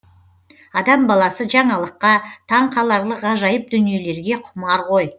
адам баласы жаңалыққа таң қаларлық ғажайып дүниелерге құмар ғой